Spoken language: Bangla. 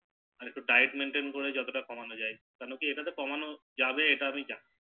একটু Diet Maintain করে যতটা কমানো যায় কেন কি এটাতে কমানো যাবে এটা আমি জানি